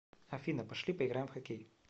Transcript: афина пошли поиграем в хоккей